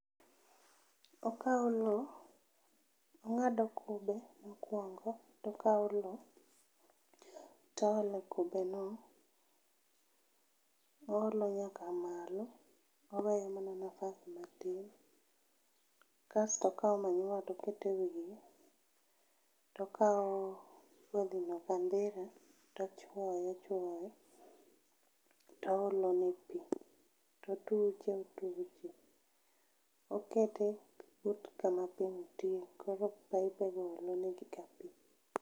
Okao loo ong'ado kube mokuongo tokao loo toole kubeno oolo nyaka malo, oweyomana nafas matin kasto okao manyiwa atokete wiye tokao kodhi no kandhira tochuoyo ochuoyo toole ne pii totuche otuche, okete but kama pii nitie koro paipe go olo negi ga pii